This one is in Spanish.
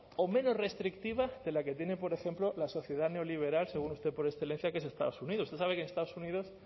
o menos restrictiva de la que tiene por ejemplo la sociedad neoliberal según usted por excelencia que es estados unidos usted sabe que en estados unidos